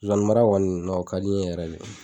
Zozani mara kɔni o ka di n ye yɛrɛ de.